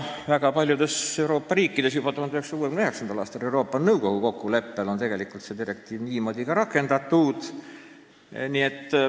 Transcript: Väga paljudes Euroopa riikides on seda direktiivi juba 1969. aastast Euroopa Liidu Nõukoguga kokkuleppel niimoodi rakendatud.